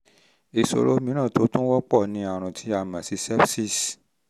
ìṣòro mìíràn tó tún wọ́pọ̀ ni àrùn tí a mọ̀ sí sepsis